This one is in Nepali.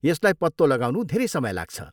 यसलाई पत्तो लगाउनु धेरै समय लाग्छ।